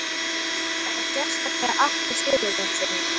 Þá sérstaklega Atla Sigurjónssyni?